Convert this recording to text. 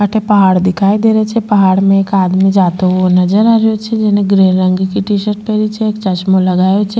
अठे पहाड़ दिखाई दे रहियो छे पहाड़ में एक आदमी जाता हुआ नजर आ रियो छे जेने ग्रे रंग की टी-शर्ट पहनी छे एक चश्मों लगायो छे।